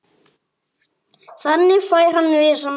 Þannig fær hann vissan bata.